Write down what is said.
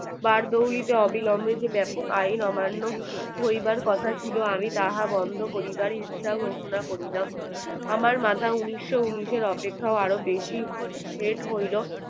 বার দৌলতে অবিলম্বে যে বেপক আইন অমান্য হইবার কথা ছিল আমি তাহার বন্ধ করিবার ইচ্ছা ঘোষণা করিলাম আমার মাথা উনিশশ উনিশের অপেক্ষায় আরো বেশি হেঁট হইল